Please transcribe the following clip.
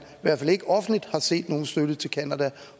i hvert fald ikke offentligt har set nogen støtte til canada